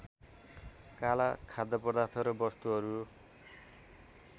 काला खाद्यपदार्थ र वस्तुहरू